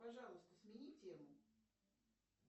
пожалуйста смени тему